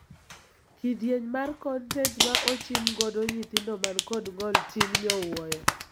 Kidieny mara kontent ma ochim godo nyithindo man kod ng'ol tin nyowuoyo.